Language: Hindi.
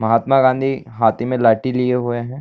महात्मा गाँधी हाथी में लाठी लिए हुए है।